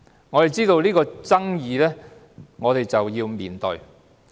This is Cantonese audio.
我們知道有爭議性，便要面對它。